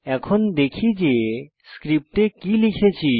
এখন দেখি যে স্ক্রিপ্টে কি লিখেছি